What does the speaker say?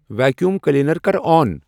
Vacuum cleaner کر آن ۔